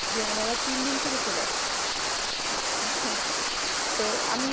যে উনারা তিন দিন থেকে চলে আসছে তো আমি